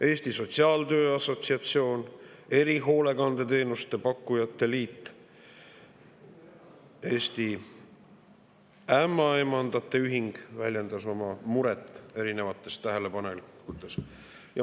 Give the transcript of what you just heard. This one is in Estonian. Eesti Sotsiaaltöö Assotsiatsioon, Erihoolekandeteenuste Pakkujate Liit ja Eesti Ämmaemandate Ühing väljendasid oma muret erinevate tähelepanekutega.